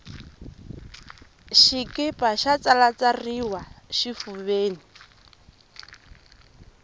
xikipa xo tsalatsariwa xifuveni